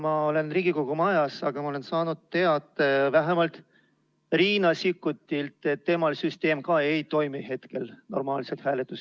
Ma olen Riigikogu majas, aga olen saanud teate vähemalt Riina Sikkutilt, et temal ka hääletussüsteem ei toimi hetkel normaalselt.